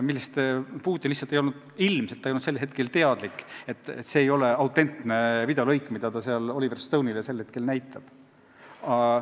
Putin ilmselt lihtsalt ei teadnud sellel hetkel, et see ei ole autentne videolõik, mida ta seal Oliver Stone'ile näitab.